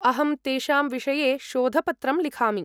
अहं तेषां विषये शोधपत्रं लिखामि।